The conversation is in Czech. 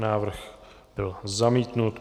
Návrh byl zamítnut.